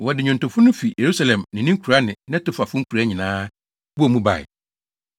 Wɔde nnwontofo no fi Yerusalem ne ne nkuraa ne Netofafo nkuraa nyinaa bɔɔ mu bae.